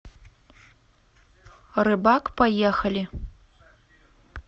рыбак поехали